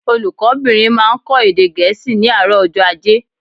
Olùkó bìnrin máa n kó èdè Gẹ̀ẹ́sì ní àárò ọjó ajé